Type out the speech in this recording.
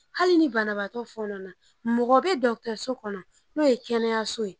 Ali ni banabaatɔ fɔɔnɔ na mɔgɔ be dɔtɛriso kɔnɔ n'o ye kɛnɛyaso ye